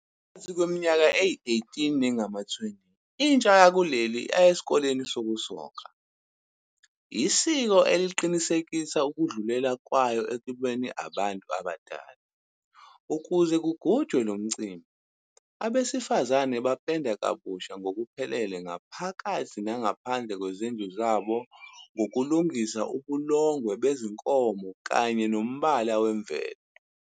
Phakathi kweminyaka eyi-18 nengama-20, intsha yalesi sizwe iya "esikoleni sokusoka", isiko eliqinisekisa ukudlulela kwayo ekubeni abantu abadala. Ukuze kugujwe lo mcimbi abesifazane bapenda kabusha ngokuphelele ngaphakathi nangaphandle kwezindlu zabo ngokulungisa ubulongwe bezinkomo kanye nombala wemvelo.